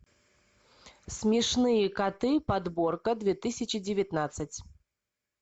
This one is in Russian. смешные коты подборка две тысячи девятнадцать